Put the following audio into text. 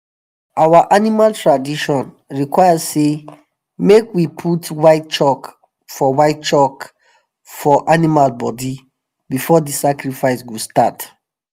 our animal tradition require say make we put white chalk for white chalk for animal body before the sacrifice go start.